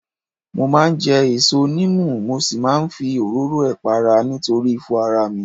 Mo máa ń jẹ èso níìmù mo sì máa ń fi òróró ẹ̀ para nítorí ifo ara mi